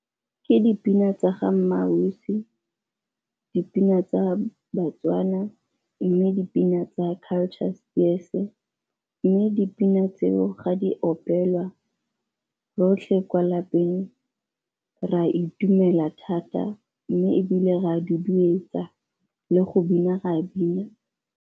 Me dipina tsa ga MmaAusi, dipina tsa baTswana, mme dipina tsa Culture Spears-e. Mme dipina tseo ga di opelwa rotlhe kwa lapeng re a itumela thata mme ebile re a duduetsa le go bina re a bina.